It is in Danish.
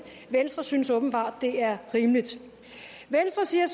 venstre synes åbenbart det er rimeligt dernæst siger